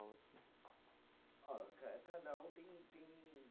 Ó, ca cada um tem tem